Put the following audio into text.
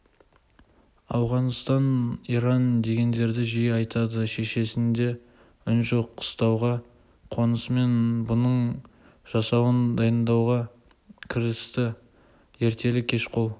ауғанстан иран дегендерді жиі айтады шешесінде үн жоқ қыстауға қонысымен бұның жасауын дайындауға кірісті ертелі-кеш қол